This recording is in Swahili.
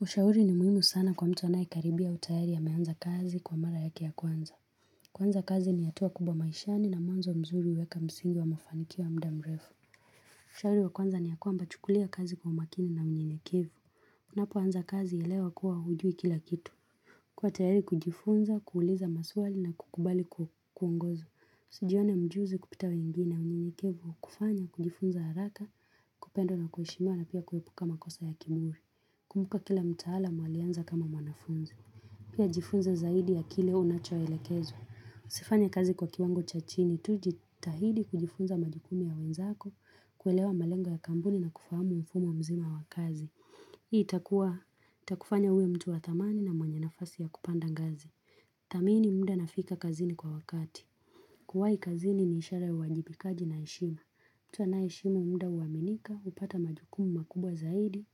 Ushauri ni muhimu sana kwa mtu anayekaribia au tayari ameanza kazi kwa mara yake ya kwanza. Kwanza kazi ni hatua kubwa maishani na mwanzo mzuri huweka msingi wa mafanikio ya muda mrefu. Ushauri wa kwanza ni ya kwamba chukulia kazi kwa makini na unyenyekevu. Unapoanza kazi elewa kuwa hujui kila kitu. Kuwa tayari kujifunza, kuuliza maswali na kukubali kuongozwa. Sijione mjuzi kupita wengine na unyenyekevu, hukufanya, kujifunza haraka, kupendwa na kuheshimiwa na pia kuepuka makosa ya kiburi. Kumbuka kila mtaalamu alianza kama mwanafunzi. Pia jifunze zaidi ya kile unachoelekezwa. Usifanye kazi kwa kiwango cha chini. Tujitahidi kujifunza majukumu ya wenzako. Kuelewa malengo ya kampuni na kufahamu mfumo mzima wa kazi. Itakufanya uwe mtu wa thamani na mwenye nafasi ya kupanda ngazi. Thamini muda na fika kazini kwa wakati. Kuwahi kazini ni ishara ya uwajibikaji na heshima. Mtu anayeheshimu muda huaminika. Hupata majukumu makubwa zaidi.